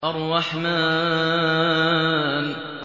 الرَّحْمَٰنُ